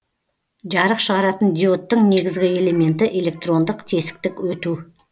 жарық шығаратын диодтың негізгі элементі электрондық тесіктік өту